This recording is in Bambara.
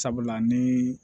Sabula ni